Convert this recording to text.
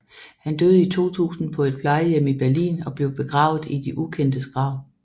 Han døde i 2000 på et plejehjem i Berlin og blev begravet i de ukendtes grav